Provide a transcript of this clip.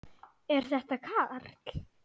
Er þetta Karl?